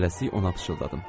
Tələsik ona pıçıldadım.